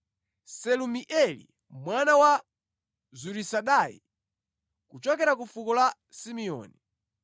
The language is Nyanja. Selumieli mwana wa Zurisadai, kuchokera ku fuko la Simeoni,